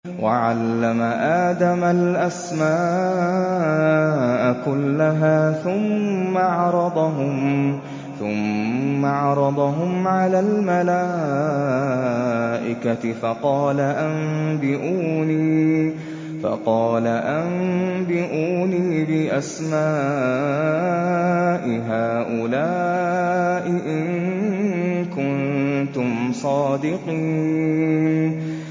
وَعَلَّمَ آدَمَ الْأَسْمَاءَ كُلَّهَا ثُمَّ عَرَضَهُمْ عَلَى الْمَلَائِكَةِ فَقَالَ أَنبِئُونِي بِأَسْمَاءِ هَٰؤُلَاءِ إِن كُنتُمْ صَادِقِينَ